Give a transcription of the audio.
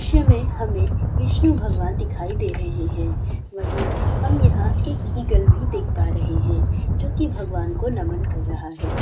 दृश्य में हमें विष्णु भगवान दिखाई दे रहे हैं वही हम यहां एक ईगल भी देख पा रहे हैं जो कि भगवान को नमन कर रहा है--